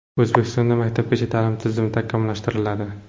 O‘zbekistonda maktabgacha ta’lim tizimi takomillashtiriladi.